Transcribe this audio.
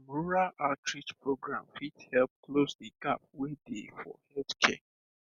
um rural outreach program fit help close the gap wey dey for healthcare